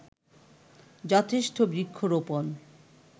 যথেষ্ঠ বৃক্ষরোপন